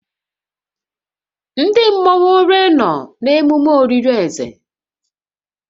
Ndị mmọnwu ole nọ na ememe olili ze?